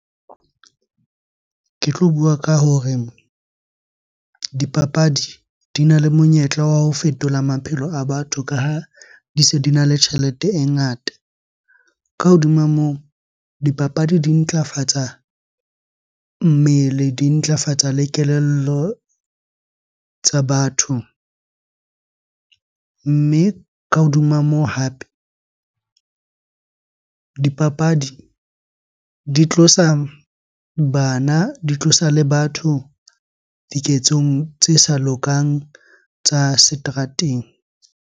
Ke tlo bua ka hore dipapadi di na le monyetla wa ho fetola maphelo a batho ka ha di se dina le tjhelete e ngata. Ka hodima moo, dipapadi di ntlafatsa mmele, di ntlafatsa le kelello tsa batho. Mme ka hodima moo hape, dipapadi di tlosa bana, di tlosa le batho diketsong tse sa lokang tsa seterateng.